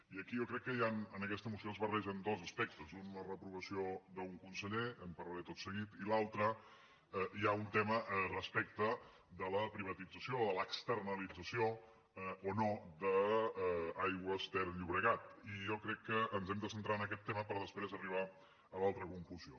i aquí jo crec que hi han en aquesta moció es barregen dos aspectes un la reprovació d’un conseller en parlaré tot seguit i l’altre un tema respecte de la privatització o de l’externalització o no d’aigües ter llobregat i jo crec que ens hem de centrar en aquest tema per després arribar a l’altra conclusió